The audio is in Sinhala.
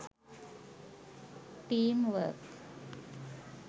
team work